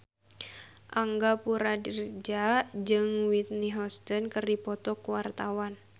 Angga Puradiredja jeung Whitney Houston keur dipoto ku wartawan